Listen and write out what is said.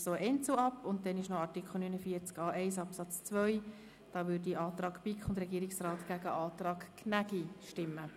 Bei Artikel 49a1 Absatz 2 wird der Antrag BiK und Regierungsrat dem Antrag Gnägi gegenübergestellt.